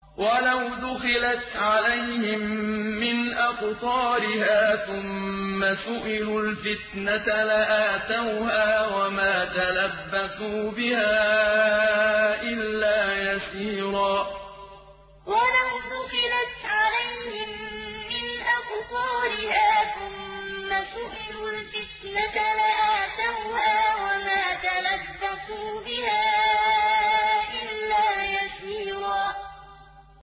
وَلَوْ دُخِلَتْ عَلَيْهِم مِّنْ أَقْطَارِهَا ثُمَّ سُئِلُوا الْفِتْنَةَ لَآتَوْهَا وَمَا تَلَبَّثُوا بِهَا إِلَّا يَسِيرًا وَلَوْ دُخِلَتْ عَلَيْهِم مِّنْ أَقْطَارِهَا ثُمَّ سُئِلُوا الْفِتْنَةَ لَآتَوْهَا وَمَا تَلَبَّثُوا بِهَا إِلَّا يَسِيرًا